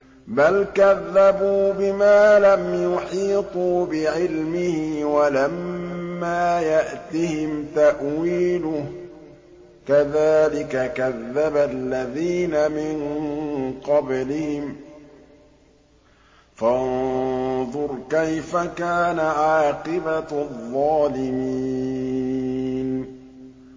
بَلْ كَذَّبُوا بِمَا لَمْ يُحِيطُوا بِعِلْمِهِ وَلَمَّا يَأْتِهِمْ تَأْوِيلُهُ ۚ كَذَٰلِكَ كَذَّبَ الَّذِينَ مِن قَبْلِهِمْ ۖ فَانظُرْ كَيْفَ كَانَ عَاقِبَةُ الظَّالِمِينَ